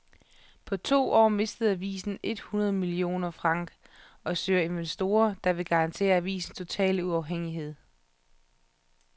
På to år mistede avisen et hundrede millioner franc og søger investorer, der vil garantere avisens totale uafhængighed.